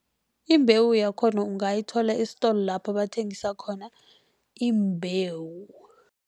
Imbewu yakhona ungayithola esitolo lapha bathengisa khona iimbewu.